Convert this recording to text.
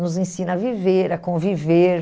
Nos ensina a viver, a conviver.